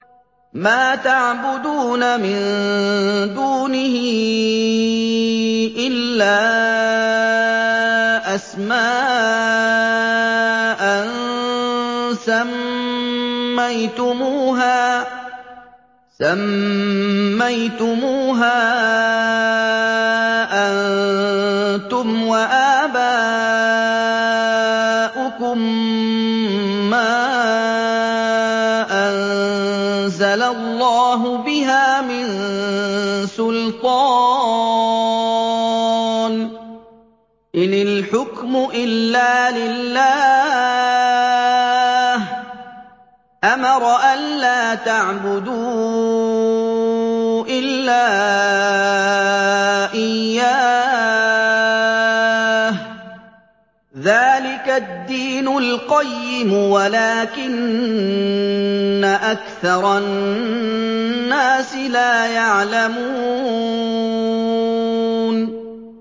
مَا تَعْبُدُونَ مِن دُونِهِ إِلَّا أَسْمَاءً سَمَّيْتُمُوهَا أَنتُمْ وَآبَاؤُكُم مَّا أَنزَلَ اللَّهُ بِهَا مِن سُلْطَانٍ ۚ إِنِ الْحُكْمُ إِلَّا لِلَّهِ ۚ أَمَرَ أَلَّا تَعْبُدُوا إِلَّا إِيَّاهُ ۚ ذَٰلِكَ الدِّينُ الْقَيِّمُ وَلَٰكِنَّ أَكْثَرَ النَّاسِ لَا يَعْلَمُونَ